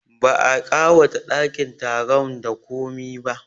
Ba a ƙawata ɗakin taron da komi ba